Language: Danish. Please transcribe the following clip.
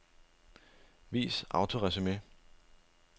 Vis autoresumé.